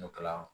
N'o kɛla